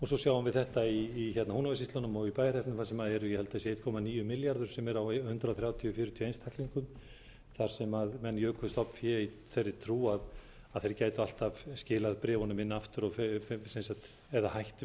svo sjáum við þetta í húnavatnssýslunni og í bæjarhreppnum þar sem eru ég held að sé einn komma níu milljarður sem er á hundrað þrjátíu til hundrað fjörutíu einstaklingum þar sem menn juku stofnfé í þeirri trú að þeir gætu alltaf skilað bréfunum inn aftur eða hætt